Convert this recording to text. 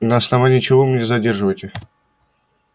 на основании чего вы меня задерживаете